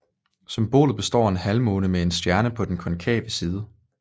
Symbolet består af en halvmåne med en stjerne på den konkave side